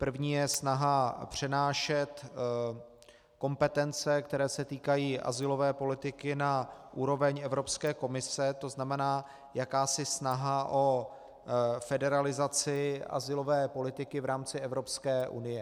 První je snaha přenášet kompetence, které se týkají azylové politiky, na úroveň Evropské komise, to znamená jakási snaha o federalizaci azylové politiky v rámci Evropské unie.